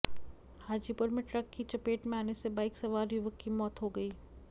हाजीपुर में ट्रक की चपेट में आने से बाइक सवार युवक की मौत हो गई